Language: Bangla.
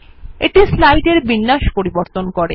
এটি স্লাইডের বিন্যাস পরিবর্তন করে